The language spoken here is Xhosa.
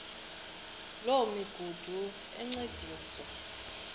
loo migudu encediswa